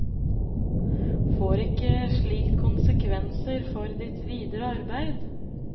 Får ikke slikt konsekvenser for ditt videre arbeid?